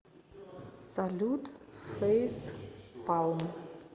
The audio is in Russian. салют фейспалм